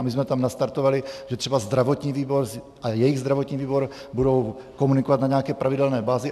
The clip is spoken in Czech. A my jsme tam nastartovali, že třeba zdravotní výbor a jejich zdravotní výbor budou komunikovat na nějaké pravidelné bázi.